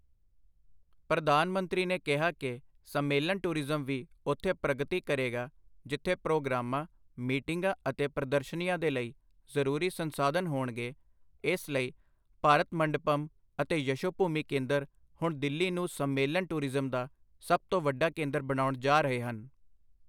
ਪ੍ਰਧਾਨ ਮੰਤਰੀ ਨੇ ਕਿਹਾ ਕਿ ਸੰਮੇਲਨ ਟੂਰਿਜ਼ਮ ਵੀ ਉੱਥੇ ਪ੍ਰਗਤੀ ਕਰੇਗਾ, ਜਿੱਥੇ ਪ੍ਰੋਗਰਾਮਾਂ, ਮੀਟਿੰਗਾਂ ਅਤੇ ਪ੍ਰਦਰਸ਼ਨੀਆਂ ਦੇ ਲਈ ਜ਼ਰੂਰੀ ਸੰਸਾਧਨ ਹੋਣਗੇ, ਇਸ ਲਈ ਭਾਰਤ ਮੰਡਪਮ ਅਤੇ ਯਸ਼ੋਭੂਮੀ ਕੇਂਦਰ ਹੁਣ ਦਿੱਲੀ ਨੂੰ ਸੰਮੇਲਨ ਟੂਰਿਜ਼ਮ ਦਾ ਸਭ ਤੋਂ ਵੱਡਾ ਕੇਂਦਰ ਬਣਾਉਣ ਜਾ ਰਹੇ ਹਨ।